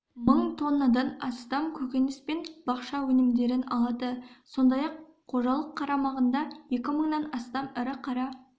мың тоннадан астам көкөніспен бақша өнімдерін алады сондай-ақ қожалық қарамағында екі мыңнан астам ірі қара